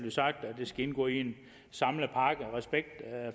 skal indgå i en samlet pakke og respekt